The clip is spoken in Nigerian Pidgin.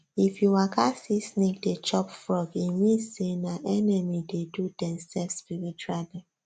if you waka see snake dey chop frog e mean say nah enemy dey do dem sef spiritually